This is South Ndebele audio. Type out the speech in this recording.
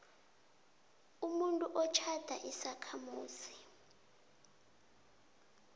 umuntu otjhada isakhamuzi